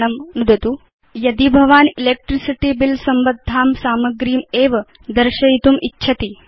अधुना चिन्तयतु यदि भवान् इलेक्ट्रिसिटी बिल संबद्धां सामग्रीम् एव दर्शयितुम् इच्छति